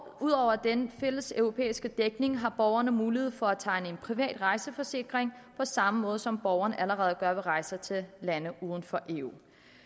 ud over den fælles europæiske dækning har borgerne mulighed for at tegne en privat rejseforsikring på samme måde som borgerne allerede gør ved rejser til lande uden for eu